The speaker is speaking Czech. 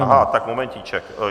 Aha, tak momentíček.